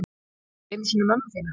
Ekki einu sinni mömmu þína.